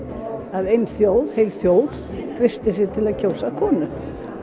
að heil þjóð heil þjóð treysti sér til að kjósa konu